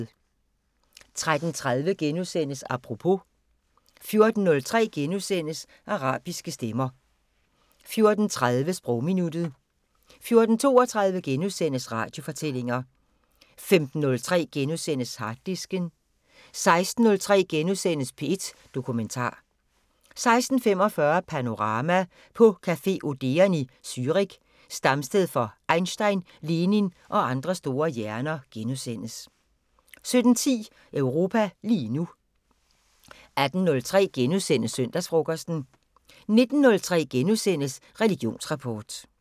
13:30: Apropos * 14:03: Arabiske stemmer * 14:30: Sprogminuttet 14:32: Radiofortællinger * 15:03: Harddisken * 16:03: P1 Dokumentar * 16:45: Panorama: På café Odeon i Zürich, stamsted for Einstein, Lenin og andre store hjerner * 17:10: Europa lige nu 18:03: Søndagsfrokosten * 19:03: Religionsrapport *